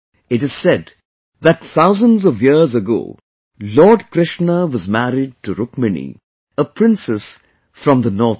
It is said that thousands of years ago Lord Krishna was married to Rukmani, a princess from the North East